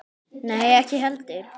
Nei, ekki heldur.